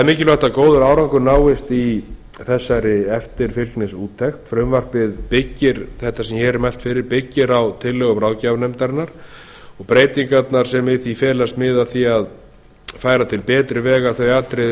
er að góður árangur náist í þessari eftirfylgnisúttekt frumvarp þetta byggir á tillögum ráðgjafarnefndarinnar og breytingarnar sem í því felast miða að því að færa til betri vegar þau atriði